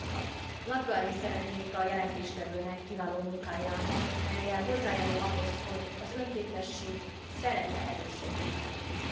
Gratulálni szeretnék a jelentéstevőnek kiváló munkájához, mellyel hozzájárul ahhoz, hogy az önkéntesség szerepe erősödjön az Unióban.